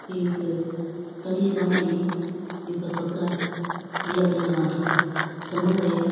एक तनि सी बंदेड़ी है बि पर कपड़ा है अलग अलग भांत का चमक रया है।